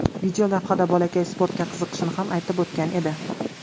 Videolavhada bolakay sportga qiziqishini ham aytib o‘tgan edi.